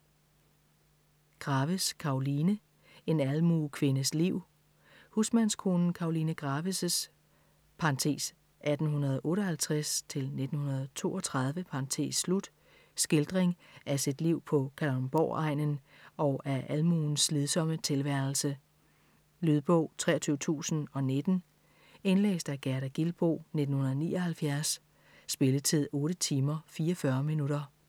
Graves, Karoline: En almuekvindes liv Husmandskonen Karoline Graves' (1858-1932) skildring af sit liv på Kalundborg-egnen og af almuens slidsomme tilværelse. Lydbog 23019 Indlæst af Gerda Gilboe, 1979. Spilletid: 8 timer, 44 minutter.